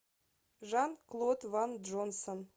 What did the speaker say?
жан клод ван джонсон